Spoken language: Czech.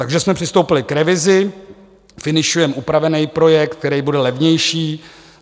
Takže jsme přistoupili k revizi, finišujeme upravený projekt, který bude levnější.